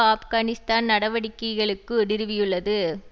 ஆப்கானிஸ்தான் நடவடிக்கைகளுக்கு நிறுவியுள்ளது